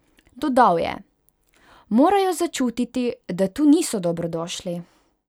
Dodal je: "Morajo začutiti, da tu niso dobrodošli".